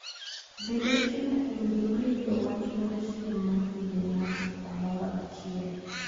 Bed achiel kuom joma yudo wach mar siem ma dhi ne ng'ato kamoro achiel.